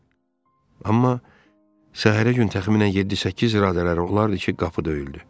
Amma səhərə gün təxminən 7-8 radələri olardı ki, qapı döyüldü.